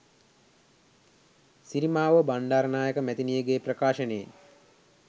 සිරිමාවෝ බණ්ඩාරනායක මැතිනියගේ ප්‍රකාශනයේ